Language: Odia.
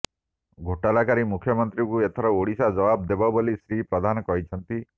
ଘୋଟାଲାକାରୀ ମୁଖ୍ୟମନ୍ତ୍ରୀଙ୍କୁ ଏଥର ଓଡିଶା ଜବାବ ଦେବ ବୋଲି ଶ୍ରୀ ପ୍ରଧାନ କହିଛନ୍ତି